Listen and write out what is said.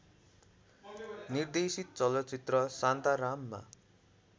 निर्देशित चलचित्र शान्ताराममा